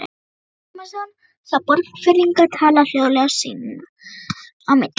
Ólafur Tómasson sá Borgfirðinga tala hljóðlega sín á milli.